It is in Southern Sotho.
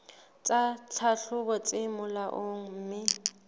tsa tlhahlobo tse molaong mme